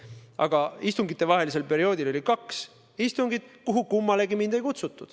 Aga istungitevahelisel perioodil oli kaks istungit, kuhu kummalegi mind ei kutsutud.